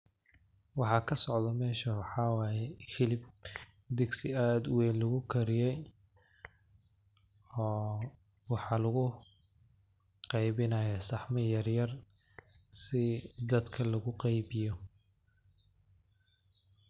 Waxa kasocdho meshan waxaa waye hilib digsi ad uweyn lugukariye. Oo waxaa luguqeybinayaa saxamo yaryar si dadka loguqeybiyo